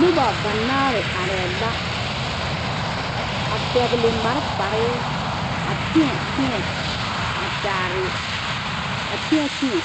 Noba banaare arɛɛ la a pɛgele malfare a tēɛ tēɛ a kyaare a tēɛ tēɛ,